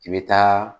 I bɛ taa